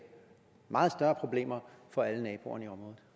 meget større problemer for alle naboerne